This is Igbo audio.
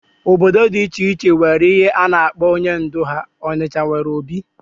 Obodo dị iche iche nwere ihe ha na-akpọ onye ndú ha. Ọnịcha nwere obi